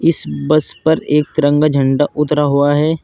इस बस पर एक तिरंगा झंडा उतरा हुआ है।